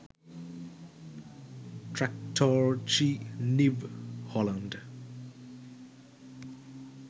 traktorji new holand